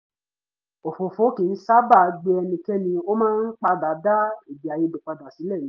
òfófó kì í sábà gbe ẹnikẹ́ni ó máa ń padà dá èdèàìyedè padà sílẹ̀ ni